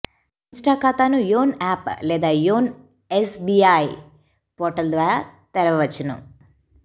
Insta ఖాతాను Yono app లేదా Yono SBI portal ద్వారా తెరవవచ్చు